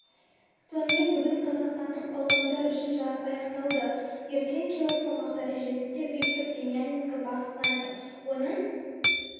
сонымен бүгін қазақстандық балуандар үшін жарыс аяқталды ертең кило салмақ дәрежесінде виктор демьяненко бақ сынайды оның